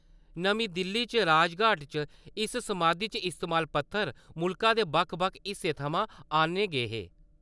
नमीं दिल्ली च राजघाट च इस समाधी च इस्तेमाल पत्थर मुल्खा दे बक्ख-बक्ख हिस्से थमां आन्ने गे हे।